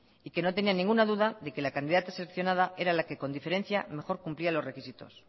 y que no tenía ninguna duda de que la candidata seleccionada era la que con diferencia mejor cumplía los requisitos